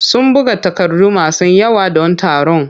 Sun buga takardu masu yawa don taron.